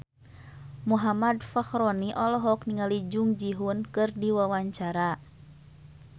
Muhammad Fachroni olohok ningali Jung Ji Hoon keur diwawancara